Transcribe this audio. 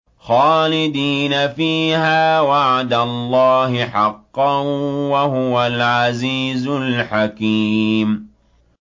خَالِدِينَ فِيهَا ۖ وَعْدَ اللَّهِ حَقًّا ۚ وَهُوَ الْعَزِيزُ الْحَكِيمُ